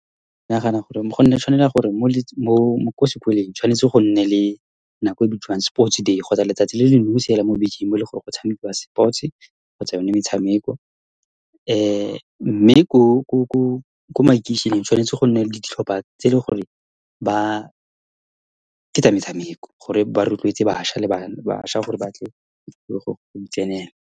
Ke nagana gore go nne, tshwanela gore mo , ko sekolong, tshwanetse go nne le nako e bitswang sports day kgotsa letsatsi le le nosi mo bekeng, mo ele goreng go tshamekiwa sports-e kgotsa yone metshameko. Mme ko makeisheneng, tshwanetse gonne le ditlhopha tse, le gore ba ke tsa metshameko, gore ba rotloetsa bašwa le bašwa gore batle go di tsenela.